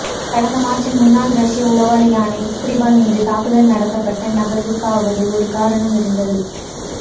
கடந்த மார்ச்சில் முன்னாள் ரஷ்ய உளவாளியான ஸ்கிரிபால் மீது தாக்குதல் நடத்தபட்ட நகர்வுக்காவது ஒரு காரணம் இருந்தது